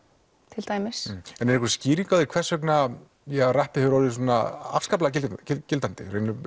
til dæmis já en er einhver skýring á því hvers vegna ja rappið hefur orðið svona afskaplega gildandi í